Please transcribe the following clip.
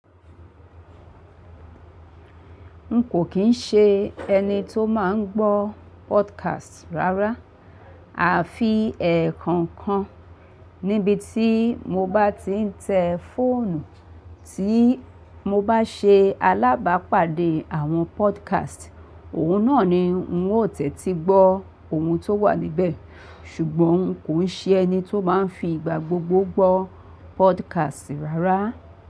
N kò kín ń ṣe ẹni tó máa ń gbọ́ podcast rárá. A fi ẹ̀ẹ̀kọ̀kan níbi tí mo bá ti ń tẹ fóònù, tí mo bá ṣe alábàápàdé àwọn podcast, òhun náà ni n ó tẹ̀ tí gbọ́ ohun tó wà níbẹ̀. Ṣùgbọ́n n kò ń ṣe ẹni tó máa ń fi ìgbà gbogbo gbọ́ podcast rárá.